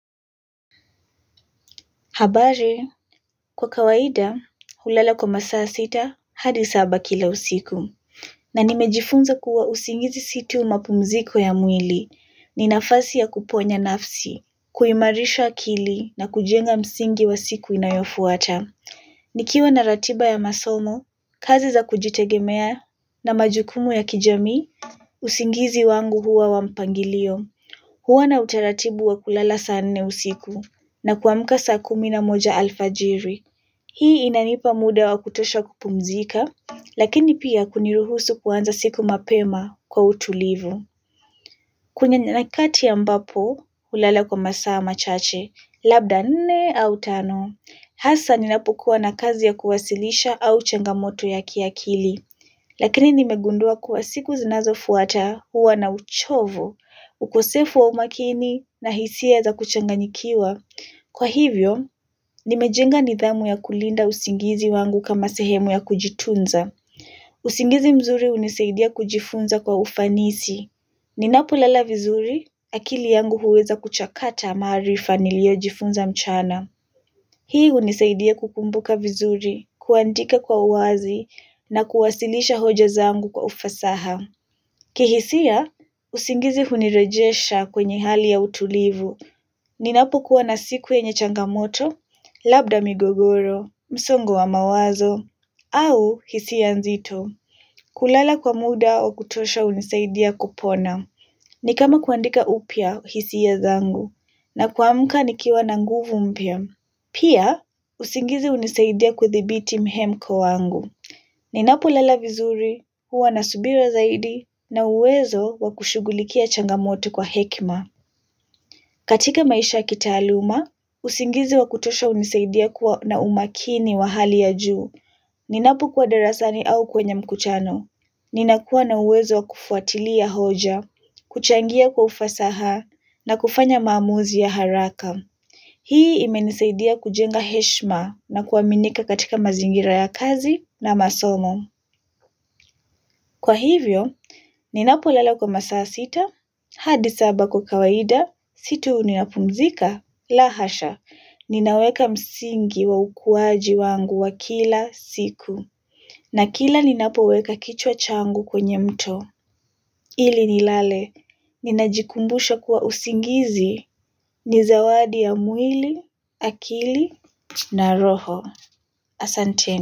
Habari kwa kawaida hulala kwa masaa sita hadi saba kila usiku. Na nimejifunza kuwa usingizi si tu mapumziko ya mwili ni nafasi ya kuponya nafsi kuimarisha akili na kujenga msingi wa siku inayofuata. Nikiwa na ratiba ya masomo kazi za kujitegemea na majukumu ya kijami usingizi wangu huwa wa mpangilio. Huwa na utaratibu wa kulala saa nne usiku, na kuamka saa kumi na moja alfajiri. Hii inanipa muda wa kutosha kupumzika, lakini pia kuniruhusu kuanza siku mapema kwa utulivu. Kuna nyanyakati ambapo, ulala kwa masaa machache, labda nne au tano. Hasa ninapokuwa na kazi ya kuwasilisha au changamoto ya kiakili. Lakini nimegundua kwa siku zinazofuata huwa na uchovo, ukosefu wa umakini na hisia za kuchanganyikiwa. Kwa hivyo, nimejenga nidhamu ya kulinda usingizi wangu kama sehemu ya kujitunza. Usingizi mzuri hunisaidia kujifunza kwa ufanisi. Ninapolala vizuri, akili yangu huweza kuchakata maarifa niliyojifunza mchana. Hii hunisaidia kukumbuka vizuri, kuandika kwa uwazi na kuwasilisha hoja zangu kwa ufasaha. Kihisia, usingizi hunirejesha kwenye hali ya utulivu. Ninapokuwa na siku yenye changamoto, labda migogoro, msongo wa mawazo, au hisia nzito. Kulala kwa muda wa kutosha hunisaidia kupona. Ni kama kuandika upya hisia zangu, na kuamka nikiwa na nguvu mpya. Pia, usingizi hunisaidia kudhibiti mhemko wangu. Ninapolala vizuri, huwa na subira zaidi, na uwezo wa kushughulikia changamoto kwa hekima. Katika maisha ya kitaaluma, usingizi wa kutosha hunisaidia kuwa na umakini wa hali ya juu. Ninapokuwa darasani au kwenye mkutano. Ninakuwa na uwezo wa kufuatilia hoja, kuchangia kwa ufasaha, na kufanya maamuzi ya haraka. Hii imenisaidia kujenga heshima na kuaminika katika mazingira ya kazi na masomo. Kwa hivyo, ninapolala kwa masaa sita, hadi saba kwa kawaida, si tu ninapumzika, lahasha. Ninaweka msingi wa ukuaji wangu wa kila siku. Na kila ninapoweka kichwa changu kwenye mto. Ili nilale, ninajikumbusha kuwa usingizi ni zawadi ya mwili, akili na roho. Asanteni.